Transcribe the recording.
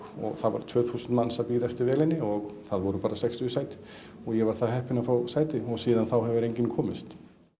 og það voru tvö þúsund manns að bíða eftir vélinni og það voru bara sextíu sæti og ég var það heppinn að fá sæti og síðan þá hefur enginn komist